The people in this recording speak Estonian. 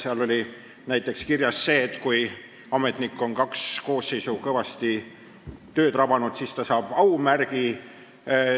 Seal oli näiteks kirjas, et kui ametnik on kaks koosseisu kõvasti tööd rabanud, siis ta saab aumärgi.